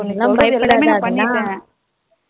பயபடாத